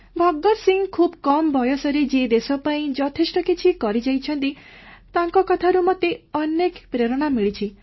ଭଗତ ସିଂହ ଖୁବ୍ କମ୍ ବୟସରେ ଯିଏ ଦେଶ ପାଇଁ ଯଥେଷ୍ଟ କିଛି କରିଯାଇଛନ୍ତି ତାଙ୍କ କଥାରୁ ମୋତେ ଅନେକ ପ୍ରେରଣା ମିଳିଛି